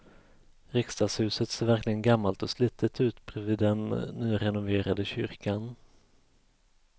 Riksdagshuset ser verkligen gammalt och slitet ut bredvid den nyrenoverade kyrkan.